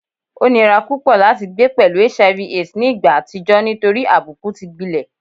O nira pupọ lati gbe pẹlu HIV / AIDS ni igba atijọ nitori abuku ti gbilẹ